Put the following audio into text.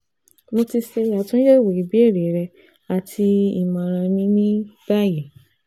Mo ti ṣe atunyẹwo ibeere rẹ ati imọran mi ni bayi